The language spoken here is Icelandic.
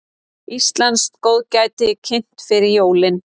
Íslenskt góðgæti kynnt fyrir jólin